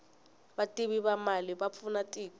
vativi va mali va pfuna tiko